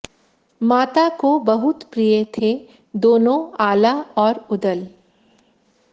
माता को बहुत प्रिय थे दोनों आल्हा और उदल